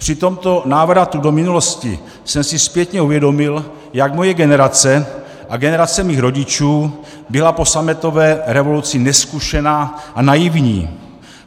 Při tomto návratu do minulosti jsem si zpětně uvědomil, jak moje generace a generace mých rodičů byla po sametové revoluci nezkušená a naivní.